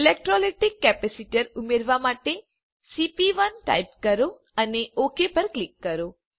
electrolytic capacitor ઉમેરવા માટે સીપી1 ટાઇપ કરો અને ઓક પર ક્લિક કરો